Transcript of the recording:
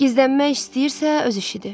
Gizlənmək istəyirsə, öz işidir.